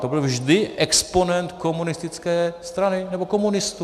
To byl vždy exponent komunistické strany nebo komunistů.